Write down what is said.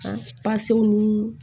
An ni